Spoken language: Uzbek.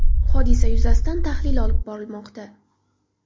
Hodisa yuzasidan tahlil olib borilmoqda.